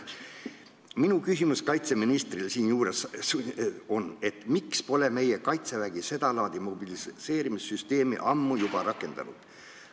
Minu küsimus kaitseministrile siinjuures on, miks pole meie Kaitsevägi seda laadi mobiliseerimissüsteemi juba ammu rakendanud.